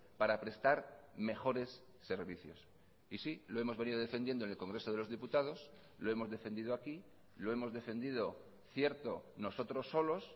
para prestar mejores servicios y sí lo hemos venido defendiendo en el congreso de los diputados lo hemos defendido aquí lo hemos defendido cierto nosotros solos